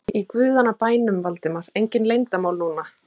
Í guðanna bænum, Valdimar, engin leyndarmál núna!